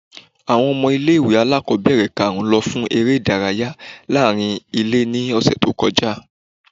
Awọn ọmọ ile-iwe alakọbẹrẹ ikarun lọ fún ere idarayá laarín-ilé ni ọsẹ to kọja